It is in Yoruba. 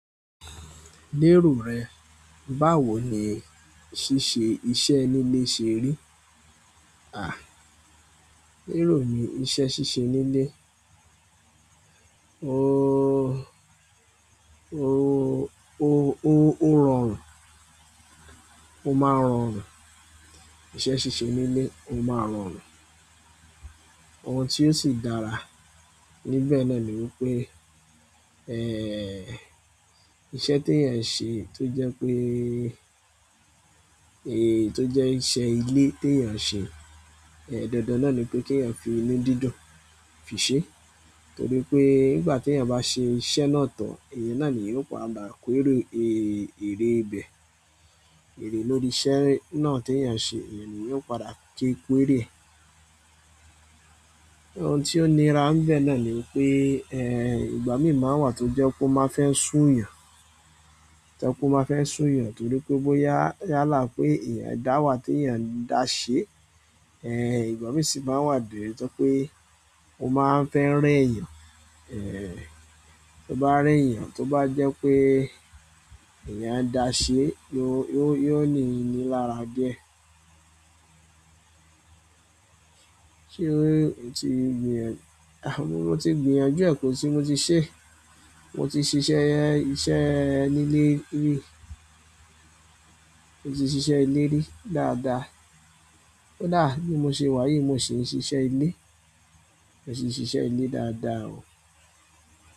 Lérò rẹ, báwo ni ṣíṣe iṣẹ́ nílé ṣe rí? À, lérò ni iṣẹ́ ṣíṣe nílé. Ooo, o, o, o, ó rọrùn. Ó máa ń rọrùn. Iṣẹ́ ṣíṣe nílé ó máa ń rọrùn. Ohun tí ó sì dára níbẹ̀ náà ni wípé, iṣẹ́ tí èèyàn ń ṣe tó jẹ́ pé, tó jẹ́ iṣẹ́ ilé tí èèyàn ń ṣe, dandan náà ni pé kí èèyàn fi inú dídùn fi ṣe. Nítorí pé nígbà tí èèyàn bá ṣe iṣẹ́ náà tán, èèyàn náà ni eeyan padà kórè, èrè ibẹ̀. Ẹ̀re lórí iṣẹ́ náà tí èèyàn ṣe, èèyàn ni eeyan padà ké ko erè ẹ́. Ohun tí ó nira n bẹ̀ náà ni wípé, ìgbámí máa wà tó jẹ́ pé ó máa fẹ́ sún èèyàn. Tó je pé ó bá fẹ́ sú èèyàn torí pé bó yá, yálà pé èèyàn dà wà tí èèyàn da ṣe, ìgbámí sì máa wà bí, tó je pé ó máa ń fẹ́ re èèyàn. Tó bá rẹ́ èèyàn tó bá jẹ́ pé èèyàn ń da ṣe, yó, yó, yóò ní--ni lára diẹ́. Ṣé o ti gbìyàn, mo ti gbìyànjú ẹ̀ kọ́ sí mo ti sẹ́. Mo ti ṣiṣẹ́, iṣẹ́ nílé rí. Mo ti ṣisé ilé rí dáadáa. Ko dà bi mo ṣe wá yìí, mo sì ń ṣiṣẹ́ ilé. Mo si n sise ile dáadáa o.